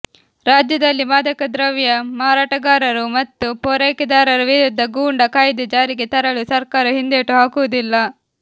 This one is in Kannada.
ರಾಜ್ಯದಲ್ಲಿ ಮಾದಕ ದ್ರವ್ಯ ಮಾರಾಟಗಾರರು ಮತ್ತು ಪೂರೈಕೆದಾರರ ವಿರುದ್ಧ ಗೂಂಡಾ ಕಾಯ್ದೆ ಜಾರಿಗೆ ತರಲು ಸರ್ಕಾರ ಹಿಂದೇಟು ಹಾಕುವುದಿಲ್ಲ